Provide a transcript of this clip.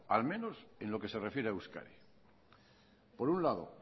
al menos en lo que se refiere a euskadi por un lado